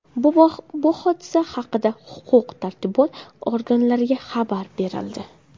Bu hodisa haqida huquq-tartibot organlariga xabar berildi.